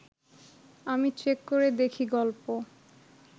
আমি চেক করে দেখি গল্প